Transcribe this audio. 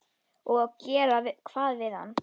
Og gera hvað við hann?